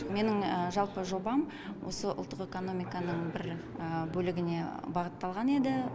менің жалпы жобам осы ұлттық экономиканың бір бөлігіне бағытталған еді